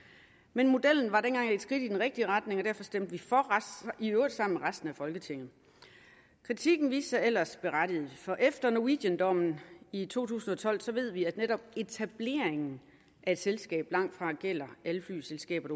men modellen var dengang et skridt i den rigtige retning stemte vi for i øvrigt sammen med resten af folketinget kritikken viste sig ellers berettiget for efter norwegiandommen i to tusind og tolv ved vi at netop etableringen af et selskab langtfra gælder alle flyselskaber